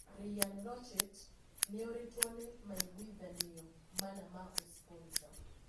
Ryan Lochte nioritwo ni maiguithanio mana ma ũsponsa.